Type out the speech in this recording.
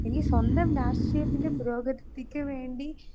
speaker 2 ഇനി സ്വന്തം രാഷ്ട്രീയത്തിന്റെ പുരോഗതത്തിക്കുവേണ്ടി